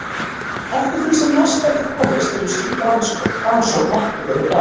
Eftir því sem næst verður komist hefur slík rannsókn ekki verið gerð.